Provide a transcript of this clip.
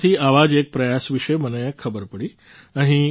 શ્રીનગરથી આવ જ એક પ્રયાસ વિશે મને ખબર પડી